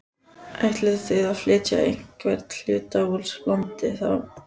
Ætlið þið að flytja einhvern hluta úr landi þá?